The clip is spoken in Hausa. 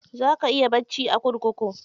Za ka iya bacci a kurkuku.